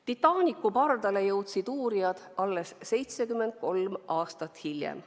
Titanicu pardale jõudsid uurijad alles 73 aastat hiljem.